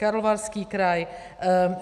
Karlovarský kraj.